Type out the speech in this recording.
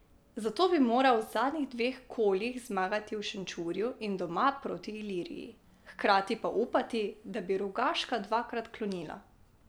Zato bi moral v zadnjih dveh kolih zmagati v Šenčurju in doma proti Iliriji, hkrati pa upati, da bi Rogaška dvakrat klonila.